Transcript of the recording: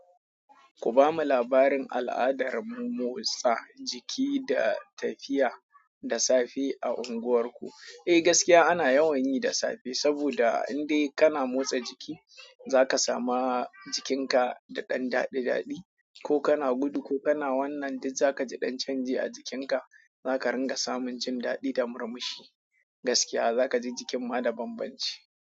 Ku bamu labarin al'adar murmusa jiki da tafiya da safe a unguwarku? Eh gaskiya ana yawan yi da safe saboda in dai kana motsa jiki, zaka samu jikinka da ɗan daɗi daɗi. Ko kana gudu ko kana wannan duk zaka ji ɗan canji a jikinka. Zaka ringa samun jin daɗi da murmushi. Gaskiya zaka ji jikin ma da banbanci.